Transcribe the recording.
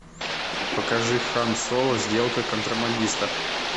покажи хан соло сделка контрабандиста